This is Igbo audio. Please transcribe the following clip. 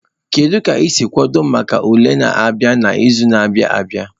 Kedu ka ị si kwado maka ule na-abịa n'izu na-abịa abia?